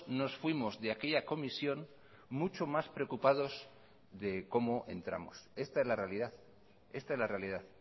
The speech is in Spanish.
nos fuimos de aquella comisión mucho más preocupados de como entramos esta es la realidad esta es la realidad